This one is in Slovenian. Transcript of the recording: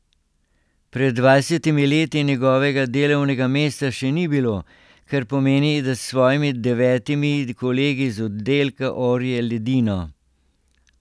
Pred dvajsetimi leti njegovega delovnega mesta še ni bilo, kar pomeni, da s svojimi devetimi kolegi z oddelka orje ledino.